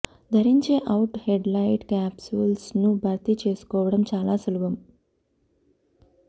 ధరించే out headlight capsules ను భర్తీ చేసుకోవడం చాలా సులభం